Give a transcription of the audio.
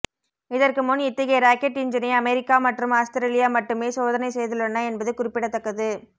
இதற்கு முன் இத்தகைய ராக்கெட் என்ஜினை அமெரிக்கா மற்றும் ஆஸ்திரேலியா மட்டுமே சோதனை செய்துள்ளன என்பது குறிப்பிடத்தக்கது